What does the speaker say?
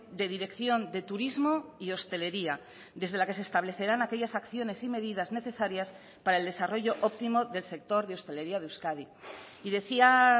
de dirección de turismo y hostelería desde la que se establecerán aquellas acciones y medidas necesarias para el desarrollo óptimo del sector de hostelería de euskadi y decía